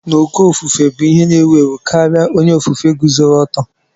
N'uko ofufue bụ ihe na-ewu ewu karịa onye ofufe guzoro oto